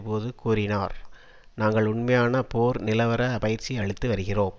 போது கூறினார் நாங்கள் உண்மையான போர் நிலவர பயிற்சி அளித்து வருகிறோம்